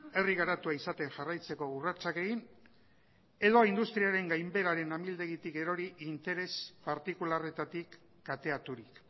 herri garatua izaten jarraitzeko urratsak egin edo industriaren gainbeheraren amildegitik erori interes partikularretatik kateaturik